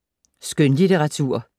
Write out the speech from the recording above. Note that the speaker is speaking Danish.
Skønlitteratur